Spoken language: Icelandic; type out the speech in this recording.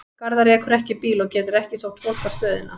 Gerður ekur ekki bíl og getur ekki sótt fólk á stöðina.